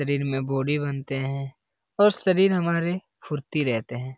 शरीर में बनते है और शरीर में हमारे फुर्ती रहते हैं।